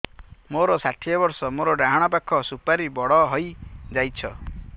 ମୋର ଷାଠିଏ ବର୍ଷ ମୋର ଡାହାଣ ପାଖ ସୁପାରୀ ବଡ ହୈ ଯାଇଛ